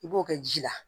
I b'o kɛ ji la